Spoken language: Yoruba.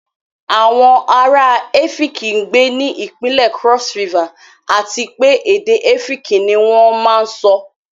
Àwọn ará Ẹ́fííki gbé ní ìpínlẹ̀ Cross River àti pé èdè Ẹ́fíkì ni wón máa ń sọ.